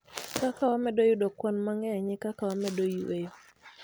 Kaka wamedo yudo kwan mangeny e kaka wamedo yweyo